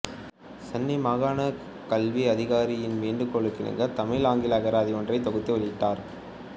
சென்னை மாகாணக் கல்வி அதிகாரியின் வேண்டுகோளுக்கிணங்க தமிழ்ஆங்கில அகராதி ஒன்றைத் தொகுத்து வெளியிட்டார்